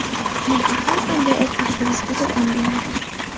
Mehr har qanday ovqatga o‘zgacha ta’m beradi.